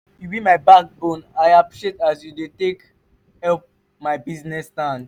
you be my backbone i appreciate as you take help my business stand.